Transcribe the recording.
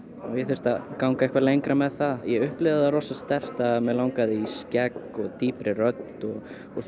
ég þyrfti að ganga eitthvað lengra með það ég upplifði það rosa sterkt að mig langaði í skegg og dýpri rödd og